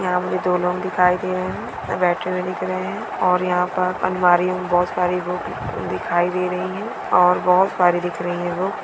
यहाँ पे दो लोग दिखाई दे रहें हैं। बेठे हुए दिख रहें हैं ओर यहाँ पर अलमारी में बहुत सारी बुक दिखाई दे रहीं हैं ओर बहुत सारी दिख रही हैं बुक ।